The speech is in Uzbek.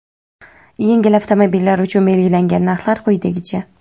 yengil avtomobillar uchun belgilangan narxlar quyidagicha:.